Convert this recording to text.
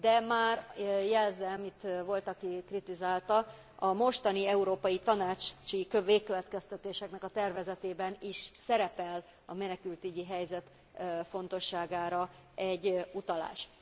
De már jelzem, itt volt, aki kritizálta, a mostani európai tanácsi végkövetkeztetéseknek a tervezetében is szerepel a menekültügyi helyzet fontosságára egy utalás.